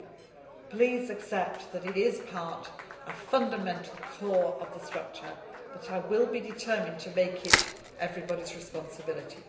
So please accept that it is part and a fundamental core of the structure, but I will be determined to make it everybody's responsibility.